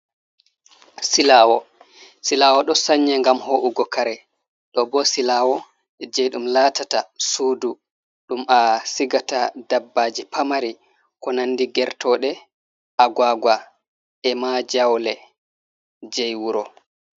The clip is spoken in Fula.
Silawo. Silawo ɗo sanye ngam ho’ugo kare. Ɗo bo silawo je ɗum latata sudu, ɗum a sigata dabbaji pamari ko nandi gertoɗe, aguagua, e ma jaule jei wuro.